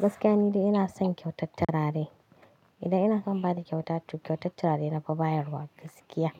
Gaskiya ni dai ina son kyautar turare. Ida ina san ba da kyauta, to kyautar turare nafi bayarwa gaskiya.